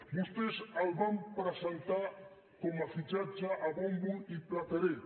vostès el van presentar com a fitxatge a bombo i plateret